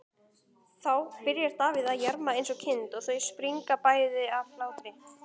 Þá byrjar Davíð að jarma eins og kind og þau springa bæði af hlátri.